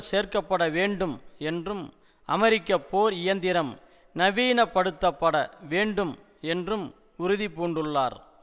சேர்க்க பட வேண்டும் என்றும் அமெரிக்க போர் இயந்திரம் நவீனப்படுத்தப்பட வேண்டும் என்றும் உறுதி பூண்டுள்ளார்